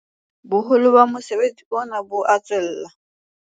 Boholo ba mosebetsi ona bo a tswella.